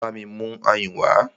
Bámi mú ayùn wá!